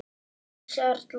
Eydís Erla.